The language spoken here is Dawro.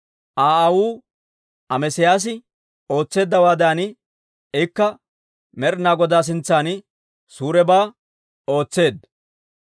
Aa aawuu Amesiyaasi ootseeddawaadan, ikka Med'ina Godaa sintsan suurebaa ootseedda.